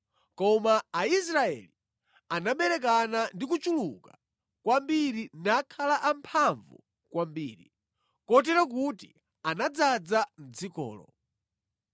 Koma Aisraeli anaberekana ndi kuchuluka kwambiri nakhala amphamvu kwambiri, kotero kuti anadzaza dzikolo.